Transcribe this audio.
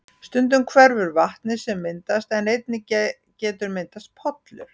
Stundum hverfur vatnið sem myndast en einnig getur myndast pollur.